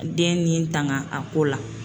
Den nin tanga a ko la.